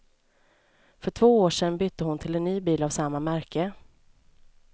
För två år sedan bytte hon till en ny bil av samma märke.